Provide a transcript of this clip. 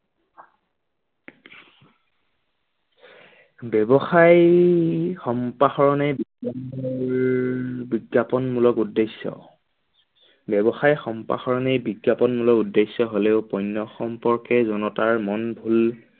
ব্যৱসায় সম্প্ৰসাৰণে বিজ্ঞানৰ বিজ্ঞাপন মূলক উদ্দেশ্য ব্যৱসায় সম্প্ৰসাৰণে বিজ্ঞাপন মূলক উদ্দেশ্য হলেও পণ্য সম্পৰ্কে জনতাৰ মন ভূল